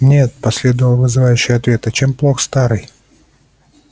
нет последовал вызывающий ответ а чем плох старый